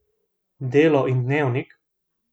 Delo in Dnevnik?